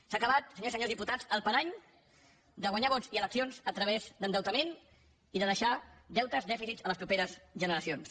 s’ha acabat senyores i senyors diputats el parany de guanyar vots i eleccions a través d’endeutament i de deixar deutes dèficits a les properes generacions